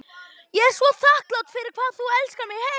Ég er svo þakklát fyrir hvað þú elskar mig heitt.